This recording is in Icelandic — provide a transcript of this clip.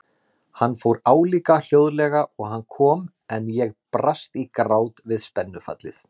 Hann fór álíka hljóðlega og hann kom en ég brast í grát við spennufallið.